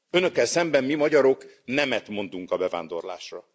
Önökkel szemben mi, magyarok, nemet mondunk a bevándorlásra.